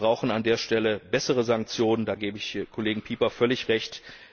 Wir brauchen an dieser Stelle bessere Sanktionen da gebe ich dem Kollegen Pieper völlig recht.